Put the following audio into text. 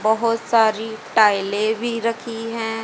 बहोत सारी टाइलें भीं रखीं हैं।